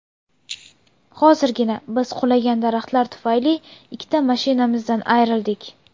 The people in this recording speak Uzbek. Hozirgina biz qulagan daraxtlar tufayli ikkita mashinamizdan ayrildik”.